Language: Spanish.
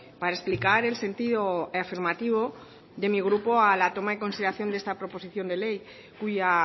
para explicar el sentido afirmativo de mi grupo a la toma en consideración de esta proposición de ley cuya